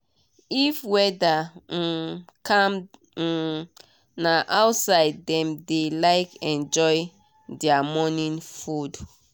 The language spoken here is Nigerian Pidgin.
if weather um calm um na outside dem dey like enjoy their morning food.